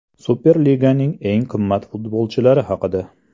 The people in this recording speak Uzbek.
Superliganing eng qimmat futbolchilari haqida.